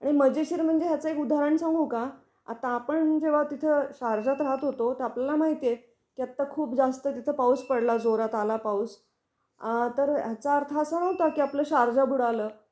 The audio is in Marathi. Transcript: खूप टीआरपीसाठीच सगळाजो त्यांचा खेळ आहे, त्याच्यानुसार बातम्या दाखवण किंवा खोट्या बातम्या दाखवण, असच सगळं चाललेल आहे मला तर वाटत. आणि मजेशीर म्हणजे याच एक उदाहरण सांगू का, आता आपण जेव्हा तिथ शारजात राहत होतो तर आपल्याला माहिती आहे कि आता खूप जास्त तिथ पाउस पडला जोरात आला पाउस, तर याचा अर्थ असा नव्हता कि आपल शारजा बुडाल